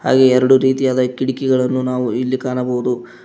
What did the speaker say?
ಹಾಗೆ ಎರಡು ರೀತಿಯಾದ ಕಿಡಕಿಗಳನ್ನು ನಾವು ಇಲ್ಲಿ ಕಾಣಬಹುದು.